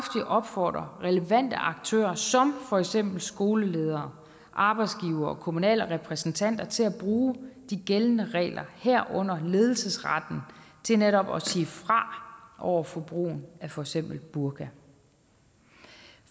opfordre relevante aktører som for eksempel skoleledere arbejdsgivere og kommunale repræsentanter til at bruge de gældende regler herunder ledelsesretten til netop at sige fra over for brugen af for eksempel burka